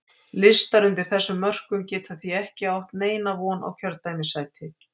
Listar undir þessum mörkum geta því ekki átt neina von á kjördæmissæti.